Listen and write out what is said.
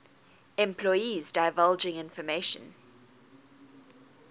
employees divulging information